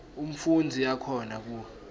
umfundzi akhona ku